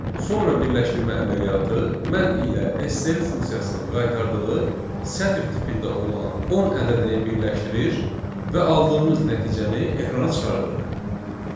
Sonra birləşdirmə əməliyyatı mən ilə STR funksiyasının qaytardığı sətr tipində olan 10 ədədini birləşdirir və aldığımız nəticəni ekrana çıxardırıq.